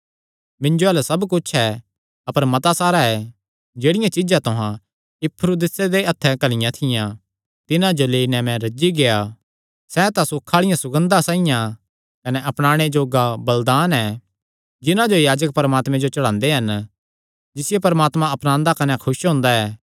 मिन्जो अल्ल सब कुच्छ ऐ अपर मता सारा ऐ जेह्ड़ियां चीज्जां तुहां इपफ्रुदीतुस दे हत्थे ते घल्लियां थियां तिन्हां जो लेई नैं मैं रज्जी गेआ सैह़ तां सुख आल़ी सुगंधा साइआं कने अपनाणे जोग्गा बलिदान ऐ जिन्हां जो याजक परमात्मे जो चढ़ांदे हन जिसियो परमात्मा अपनांदा कने खुस हुंदा ऐ